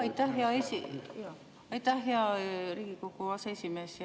Aitäh, hea Riigikogu aseesimees!